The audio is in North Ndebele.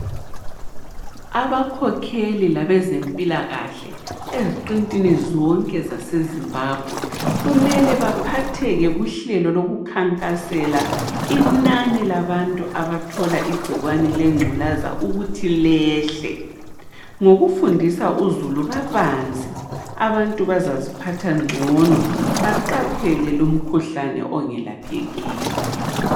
Abakhokheli labezempilakahle eziqintini zonke zase Zimbabwe, kumele baphatheke kuhlelo lokukhankasela inani labantu abathola igcikwane lengculaza ukuthi lehle. Ngokufundisa uzulu kabanzi, abantu bazaziphatha ngcono baqaphele lumkhuhlane ongelaphekiyo.